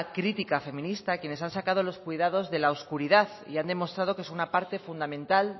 crítica feminista quienes han sacado los cuidados de la oscuridad y han demostrado que es una parte fundamental